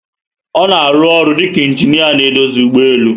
Ona arụ ọrụ dika ingineer na edozi ụgbọelu